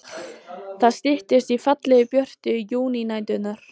Það styttist í fallegu, björtu júnínæturnar.